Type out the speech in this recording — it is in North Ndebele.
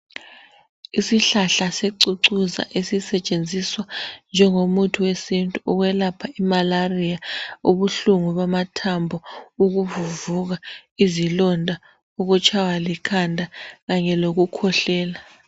Isihlahla secucuza esisetshenziswa njengo muthi wesintu ukwelapha imalariya, ubuhlungu bamathambo, ukuvuvuka, izilonda, ukutshaywa likhanda kanye lokukhwehlela.